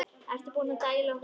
Ertu búinn að dælda húddið?